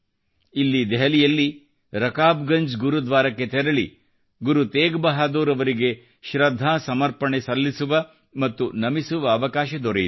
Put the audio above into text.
ಇಲ್ಲಿ ದೆಹಲಿಯಲ್ಲಿ ರಕಾಬ್ ಗಂಜ್ ಗುರುದ್ವಾರಕ್ಕೆ ತೆರಳಿ ಗುರು ತೇಗ್ ಬಹಾದೂರ್ ಅವರಿಗೆ ಶೃದ್ಧಾ ಸಮರ್ಪಪಣೆ ಸಲ್ಲಿಸುವ ಮತ್ತು ನಮಿಸುವ ಅವಕಾಶ ದೊರೆಯಿತು